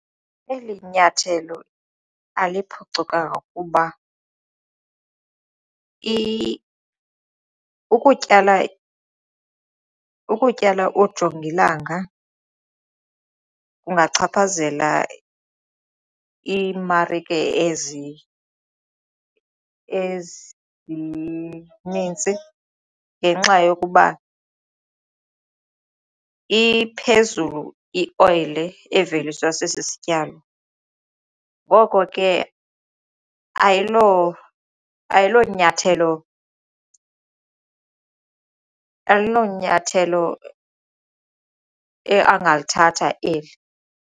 Eli nyathelo aliphucukanga kuba ukutyala, ukutyala ujongilanga kungachaphazela iimarike ezinintsi ngenxa yokuba iphezulu ioyile eveliswa sesi sityalo ngoko ke ayilo nyathelo angalithatha eli.